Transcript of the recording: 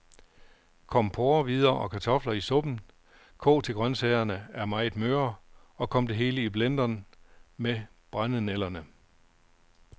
Kom porrehvider og kartofler i suppen, kog til grøntsagerne er meget møre, og kom det hele i blenderen med brændenælderne.